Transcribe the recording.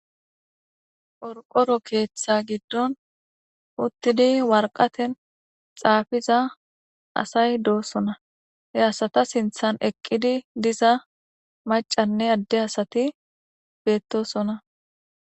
Orqoro keeththa giddon uttidi warqaten xaafiza asay doosona he asata sinthan eqqidi diza macanne adde asati bettosona